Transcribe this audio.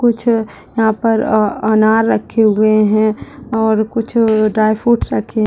कुछ यहां पर अ-अनार रखे हुये है और कुछ ड्राय फ्रूट्स रखे --